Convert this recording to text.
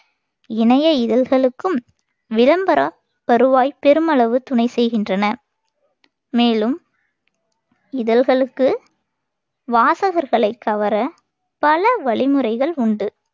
இணைய இதழ்களுக்கும் விளம்பர வருவாய் பெருமளவு துணை செய்கின்றன. மேலும் இதழ்களுக்கு வாசகர்களைக் கவர பல வழிமுறைகள் உண்டு.